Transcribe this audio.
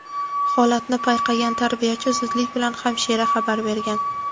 Holatni payqagan tarbiyachi zudlik bilan hamshira xabar bergan.